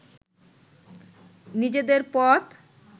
নিজেদের পথ